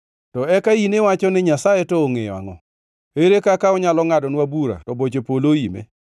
To eka in iwacho ni, ‘Nyasaye to ongʼeyo angʼo? Ere kaka onyalo ngʼadonwa bura to boche polo oime?